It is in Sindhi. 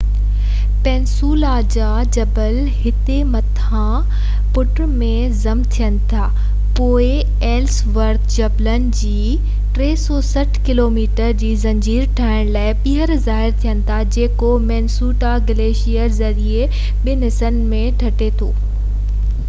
پيننسولا جا جبل هتي مٿانهن پٽ ۾ ضم ٿين ٿا پوءِ ايلس ورٿ جبلن جي 360 ڪلوميٽر جي زنجير ٺاهڻ لاءِ ٻيهر ظاهر ٿين ٿا جيڪو منيسوٽا گليشير ذريعي ٻن حصن ۾ ٽٽي ٿو